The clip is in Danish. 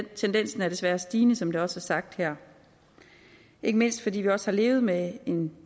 tendensen er desværre stigende som det også er sagt her ikke mindst fordi vi også har levet med en